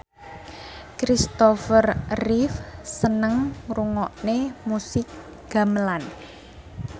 Kristopher Reeve seneng ngrungokne musik gamelan